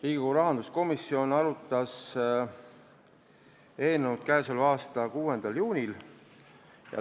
Riigikogu rahanduskomisjon arutas eelnõu k.a 6. juunil.